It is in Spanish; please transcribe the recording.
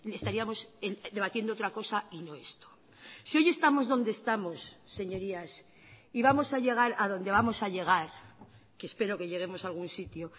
estaríamos debatiendo otra cosa y no esto si hoy estamos donde estamos señorías y vamos a llegar a donde vamos a llegar que espero que lleguemos a algún sitio